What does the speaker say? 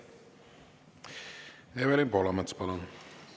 Evelin Poolamets, palun!